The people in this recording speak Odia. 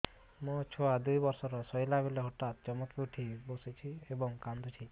ମୋ ଛୁଆ ଦୁଇ ବର୍ଷର ଶୋଇଲା ବେଳେ ହଠାତ୍ ଚମକି ଉଠି ବସୁଛି ଏବଂ କାଂଦୁଛି